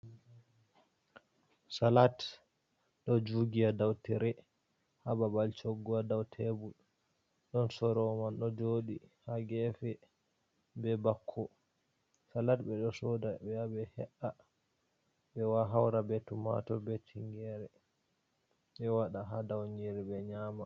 Salat ɗo jugi ha dau tire ha babal cogu ha dau tebul, ɗon soro'o man ɗo joɗi ha gefe be bako, salat ɓe ɗo soda ɓe ya ɓe he’a, ɓe haura be tumator be tingere, ɓe waɗa ha dau niyire ɓe nyama.